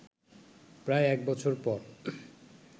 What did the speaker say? প্রায় এক বছর পর